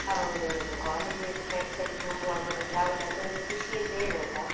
ಹೌದೌದು college ಅಲ್ಲಿ friends ಅಲ್ಲಿ ಹೋಗುವಾಗ ಒಂದು travel ಅದರದ್ದು ಒಂದು ಖುಷಿಯೇ ಬೇರೆ ಅಲ್ಲಾ.